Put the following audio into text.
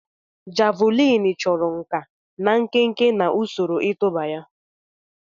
Javuliini chọrọ nkà na nkenke na usoro ịtụba ya.